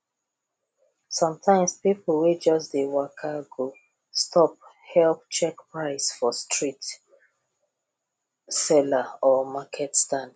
sometimes people wey just dey waka go stop help check price for street seller or market stand